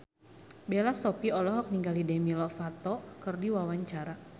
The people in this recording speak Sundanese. Bella Shofie olohok ningali Demi Lovato keur diwawancara